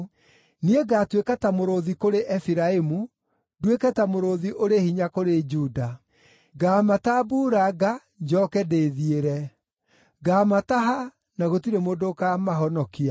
Niĩ ngaatuĩka ta mũrũũthi kũrĩ Efiraimu, nduĩke ta mũrũũthi ũrĩ hinya kũrĩ Juda. Ngaamatambuuranga, njooke ndĩthiĩre; ngaamataha, na gũtirĩ mũndũ ũkaamahonokia.